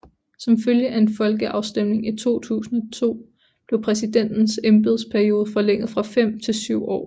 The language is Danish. Som følge af en folkeafstemning i 2002 blev præsidentens embedsperiode forlænget fra fem til syv år